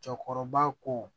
Cɛkɔrɔba ko